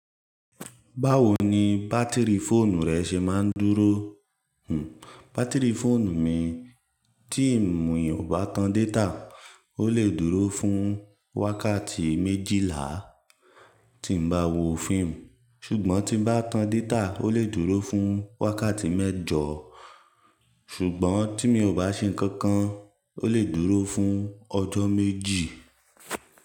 Báwo ni bátìrì fóònù rẹ ṣe máa ń dúró? Hm, bátìrì fóònù mi tí mi ò bá tan data, ó lè dúró fún wákàtí méjìlá tí bá wo fíìmù, ṣùgbọ́n tí bá tan data, ó lè dúró fún wákàtí mẹ́jọ. Ṣùgbọ́n tí mi ò bá ṣe nǹkan kan, ó lè dúró fún ọjọ́ méjì.